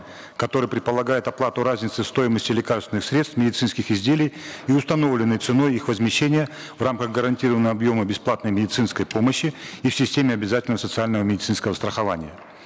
который предполагает оплату разницы стоимости лекарственных средств медицинских изделий и установленной ценой их возмещения в рамках гарантированного объема бесплатной медицинской помощи и в системе обязательного социального медицинского страхования